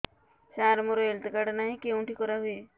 ସାର ମୋର health card ନାହିଁ କେଉଁଠି କରା ହୁଏ